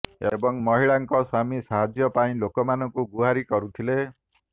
ଏବଂ ମହିଳାଙ୍କ ସ୍ବାମୀ ସାହାଯ୍ୟ ପାଇଁ ଲୋକମାନଙ୍କୁ ଗୁହାରୀ କରୁଥିଲେ